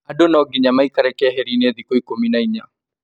Andũ no nginya maikare keheri-inĩ thiku ikumi na inya